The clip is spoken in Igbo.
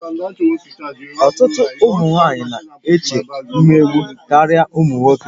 Ọtụtụ ụmụ nwanyị na-eche mmegbu karịa ụmụ nwoke